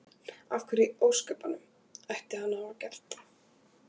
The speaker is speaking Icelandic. Af hverju í ósköpunum ætti hann að hafa gert það?